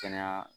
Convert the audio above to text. Kɛnɛya